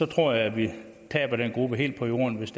tror at vi taber den gruppe helt på jorden hvis